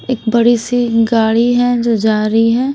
एक बड़ी सी गाड़ी है जो जा रही है।